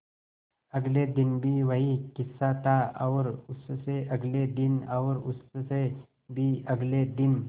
अगले दिन भी वही किस्सा था और उससे अगले दिन और उससे भी अगले दिन